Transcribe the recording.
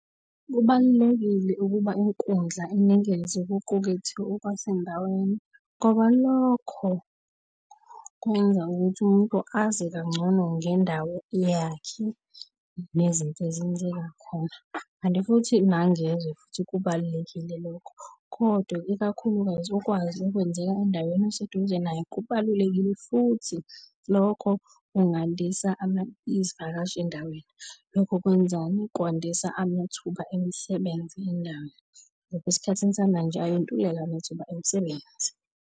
Kubalulekile ukuba inkundla inikeze okuqukwethe okwasendaweni ngoba lokho kungenza ukuthi umuntu azi kangcono ngendawo yakhe nezinto ezenzeka khona, kanti futhi nangezwe futhi kubalulekile lokho. Kodwa, ikakhulukazi ukwazi okwenzeka endaweni eseduze nayo kubalulekile futhi, lokho kungandisa izivakashi endaweni. Lokho kwenzani, kwandisa amathuba emisebenzi endawo ngoba esikhathini samanje ayantuleka amathuba emisebenzi.